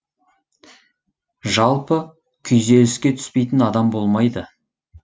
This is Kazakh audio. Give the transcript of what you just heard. жалпы күйзеліске түспейтін адам болмайды